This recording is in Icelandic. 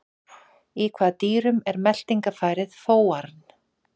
Í hvaða dýrum er meltingafærið fóarn?